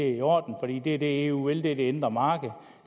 i orden det er det eu vil for det er det indre marked